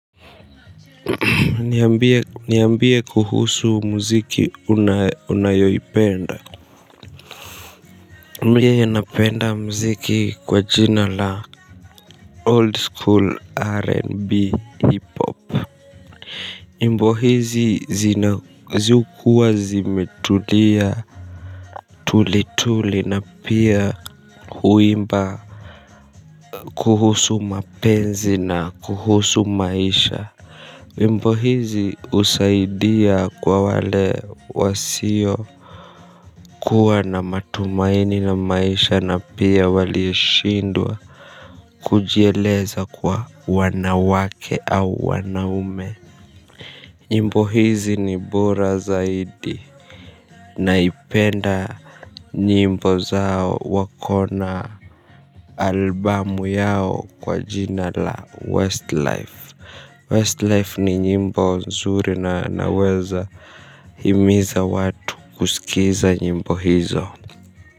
Niambie kuhusu mziki unao unayoipenda mie napenda muziki kwa jina la old school r n b hiphop nyimbo hizi zina zi hukuwa zimetulia tulituli na pia huimba kuhusu mapenzi na kuhusu maisha nyimbo hizi husaidia kwa wale wasio kuwa na matumaini na maisha na pia walioshindwa kujieleza kwa wanawake u wnaume. Nyimbo hizi ni bora zaidi na ipenda nyimbo zao wako na album yao kwa jina la Westlife Westlife ni nyimbo nzuri na naweza himiza watu kusikiza nyimbo hizo.